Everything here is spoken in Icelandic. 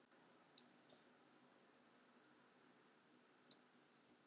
Fréttamaður: Ekkert verið að ræða hana sérstaklega þarna?